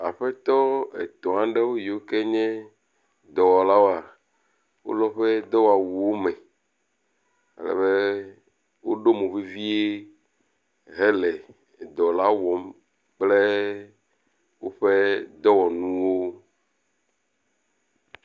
Aƒetɔ etɔ̃ aɖewo yiwo ke nye dɔwɔlawoa wo le woƒe dɔwɔwuwo me. Ale be woɖo mo vevie hele dɔ la wɔm kple woƒe dɔwɔnuwo.